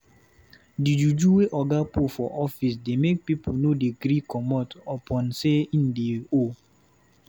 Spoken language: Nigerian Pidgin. Di juju wey oga put for office dey make pipu no dey gree comot upon sey him dey owe.